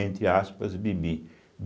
Entre aspas, Bibi.